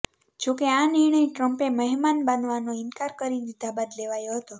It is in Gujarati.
જોકે આ નિર્ણય ટ્રમ્પે મહેમાન બનવાનો ઈન્કાર કરી દીધા બાદ લેવાયો હતો